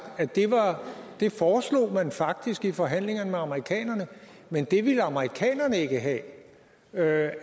at det foreslog man faktisk i forhandlingerne med amerikanerne men det ville amerikanerne ikke have er